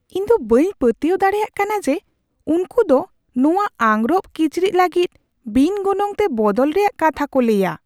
ᱤᱧᱫᱚ ᱵᱟᱹᱧ ᱯᱟᱹᱛᱭᱟᱹᱣ ᱫᱟᱲᱮᱭᱟᱜ ᱠᱟᱱᱟ ᱡᱮ ᱩᱱᱠᱩ ᱫᱚ ᱱᱚᱶᱟ ᱟᱝᱨᱚᱯᱼᱠᱤᱪᱨᱤᱡ ᱞᱟᱹᱜᱤᱫ ᱵᱤᱱ ᱜᱚᱱᱚᱝᱛᱮ ᱵᱚᱫᱚᱞ ᱨᱮᱭᱟᱜ ᱠᱟᱛᱷᱟ ᱠᱚ ᱞᱟᱹᱭᱼᱟ ᱾